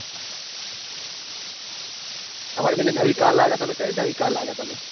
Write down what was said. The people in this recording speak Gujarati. તામર પેલી નવી car લાયા તા તમે કઈ નવી car તા તમે.